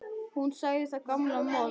Hún sagði það gamla mold.